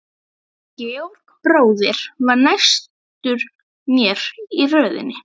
Georg bróðir var næstur mér í röðinni.